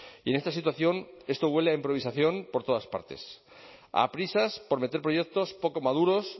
y en esta situación esto huele a improvisación por todas partes a prisas por meter proyectos poco maduros